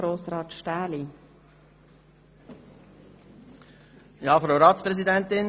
Wer weiss, vielleicht sehen wir uns einmal, wenn wir im Bundeshaus zu Besuch sind.